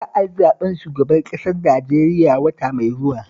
Za a yi zaɓen shugaban ƙasar Najeriya wata mai zuwa